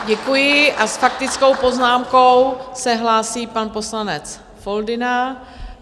Děkuji a s faktickou poznámkou se hlásí pan poslanec Foldyna.